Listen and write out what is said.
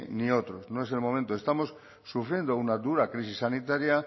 ni otros no es el momento estamos sufriendo una dura crisis sanitaria